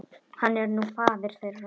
Hann er nú faðir þeirra.